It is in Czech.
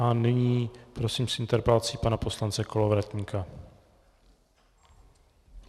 A nyní prosím s interpelací pana poslance Kolovratníka.